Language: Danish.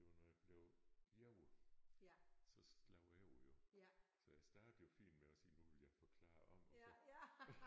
Det var når jeg blev jaget så slår jeg over jo så jeg startede jo fint med at sige nu vil jeg forklare om og så